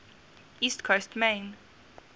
east coast maine